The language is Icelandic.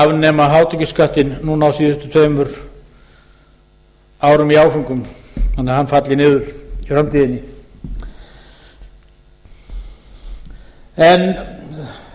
afnema hátekjuskattinn núna á síðustu tveimur árum í áföngum þannig að hann falli niður i framtíðinni en